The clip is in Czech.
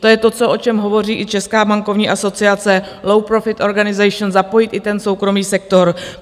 To je to, o čem hovoří i Česká bankovní asociace, Low-Profit Organisation, zapojit i ten soukromý sektor.